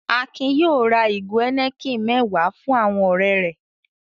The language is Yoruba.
Akin yóò ra ìgò Heineken mẹ́wàá fún àwọn ọ̀rẹ́ rẹ̀.